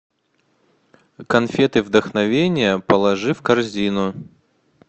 конфеты вдохновение положи в корзину